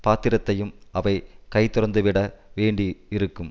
பாத்திரத்தையும் அவை கைதுறந்துவிட வேண்டி இருக்கும்